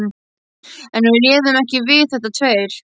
En við réðum ekki við þetta tveir.